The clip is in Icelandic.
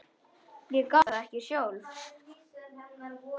Ég gat það ekki sjálf.